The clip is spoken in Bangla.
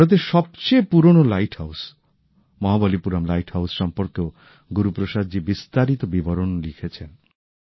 ভারতের সবচেয়ে পুরনো lighthouse Mahabalipuram lighthouse সম্পর্কেও গুরুপ্রসাদজি বিস্তারিত বিবরণ লিখেছেন